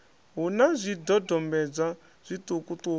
hu na zwidodombedzwa zwiṱuku ṱuku